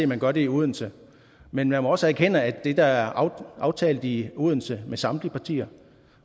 man gør det i odense men man må også erkende at det der er aftalt i odense med samtlige partier